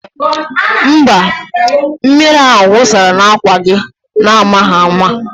Mba, mmiri ahụ wụsara n'àkwà gị n'amaghị ama